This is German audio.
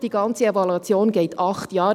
Die ganze Evaluation dauert acht Jahre.